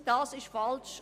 Das ist falsch.